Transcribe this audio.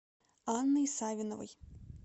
анной савиновой